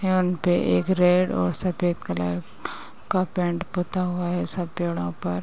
है उनपे एक रेड और सफ़ेद कलर का पेंट पुता हुआ है सब पेड़ो पर।